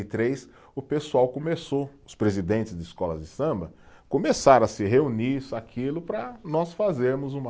e três, o pessoal começou, os presidentes de escolas de samba, começaram a se reunir, isso e aquilo, para nós fazermos uma